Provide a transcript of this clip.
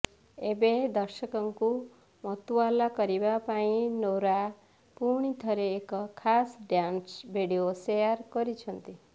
ଏବେ ଦର୍ଶକଙ୍କୁ ମତୁଆଲା କରିବା ପାଇଁ ନୋରା ପୁଣି ଥରେ ଏକ ଖାସ୍ ଡ୍ୟାନ୍ସ ଭିଡିଓ ଶେଆର କରିଛନ୍ତି